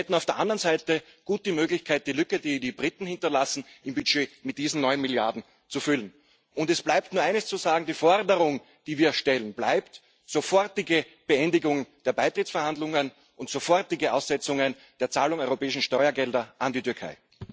Wir hätten auf der anderen Seite gut die Möglichkeit, die Lücke im Budget, die die Briten hinterlassen, mit diesen neun Milliarden zu füllen. Es bleibt nur eines zu sagen Die Forderung, die wir stellen, bleibt sofortige Beendigung der Beitrittsverhandlungen und sofortige Aussetzung der Zahlung europäischer Steuergelder an die Türkei.